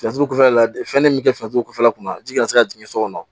Fɛnjugu kɔfɛla la fɛn ne min bɛ kɛ fɛn la kunna ji kana se ka jigin so kɔnɔ